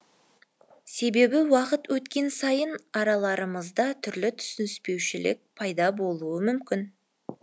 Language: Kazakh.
себебі уақыт өткен сайын араларымызда түрлі түсініспеушілік пайда болуы мүмкін